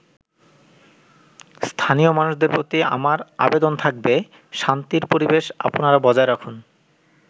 “স্থানীয় মানুষদের প্রতি আমার আবেদন থাকবে শান্তির পরিবেশ আপনারা বজায় রাখুন।